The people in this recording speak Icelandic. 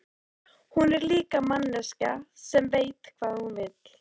Hún er líka manneskja sem veit hvað hún vill.